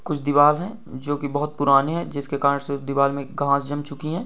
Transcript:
कुछ दीवार है जो की बहुत पुराने हैं जिसके कारण से दीवार में घास जम चुकी है।